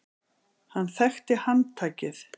Hann þekkti handtakið.